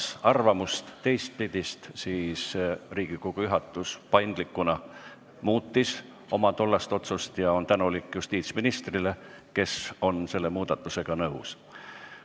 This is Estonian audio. Kuna saal avaldas teistsugust arvamust, siis Riigikogu juhatus paindlikult muutis oma tollast otsust ja on tänulik justiitsministrile, kes oli selle muudatusega nõus.